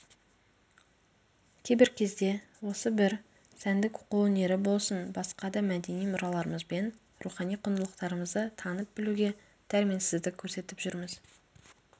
кейбір кезде осы бір сәндік қолөнері болсын басқа да мәдени мұраларымызбен рухани құндылықтарымызды танып білуге дәрменсіздік көрсетіп жүрміз